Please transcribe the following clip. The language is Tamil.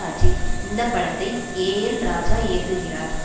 அஜித் இந்த படத்தை ஏ எல் ராஜா இயக்குகிறார்